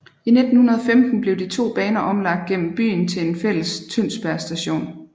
I 1915 blev de to baner omlagt gennem byen til en fælles Tønsberg Station